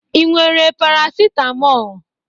Ị nwere Parasitamọl?